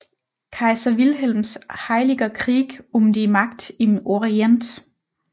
Kaiser Wilhelms Heiliger Krieg um die Macht im Orient